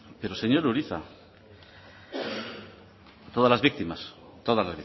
pero señor urizar todas las víctimas todas